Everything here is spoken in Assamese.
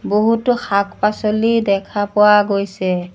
বহুতো শাক-পাছলি দেখা পোৱা গৈছে।